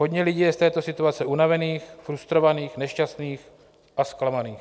Hodně lidí je z této situace unavených, frustrovaných, nešťastných a zklamaných.